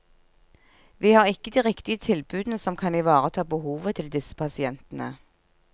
Vi har ikke de riktige tilbudene som kan ivareta behovet til disse pasientene.